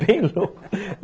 Bem louco